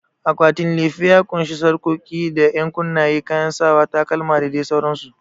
Akwatin lefe ya ƙunshi sarƙoƙi da ƴankunnaye, kayan sawa, takalma da dai sauransu.